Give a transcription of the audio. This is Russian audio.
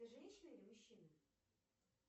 ты женщина или мужчина